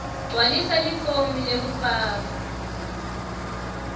gcwalisa lifomu lekufaka